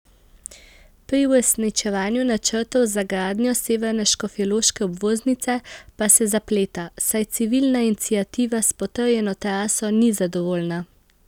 Pri uresničevanju načrtov za gradnjo severne škofjeloške obvoznice pa se zapleta, saj civilna iniciativa s potrjeno traso ni zadovoljna.